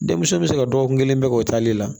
Denmisɛnw bɛ se ka dɔgɔkun kelen bɛɛ kɛ o taale la